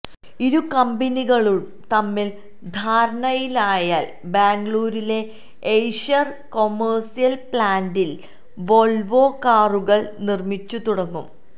ഇരുകമ്പനികളും തമ്മില് ധാരണയിലായാല് ബാംഗ്ലൂരിലെ എയ്ഷര് കൊമേഴ്സ്യല് പ്ലാന്റില് വോള്വോ കാറുകളും നിര്മിച്ചുതുടങ്ങും